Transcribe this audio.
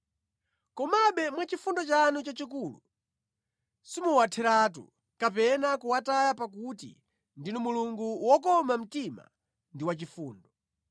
Komabe mwachifundo chanu chachikulu simuwatheretu kapena kuwataya pakuti ndinu Mulungu wokoma mtima ndi wachifundo.